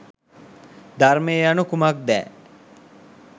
ධර්මය යනු කුමක්දැ